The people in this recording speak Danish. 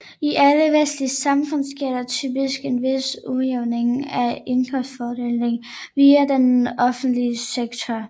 I alle vestlige samfund sker der typisk en vis udjævning af indkomstfordelingen via den offentlige sektor